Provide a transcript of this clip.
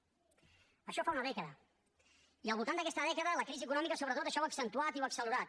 d’això fa una dècada i al voltant d’aquesta dècada la crisi econòmica sobretot això ho ha accentuat i ho ha accelerat